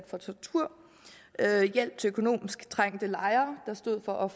for tortur hjælp til økonomisk trængte lejere der stod for